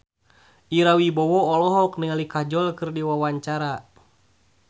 Ira Wibowo olohok ningali Kajol keur diwawancara